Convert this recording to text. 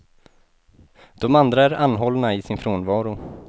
De andra är anhållna i sin frånvaro.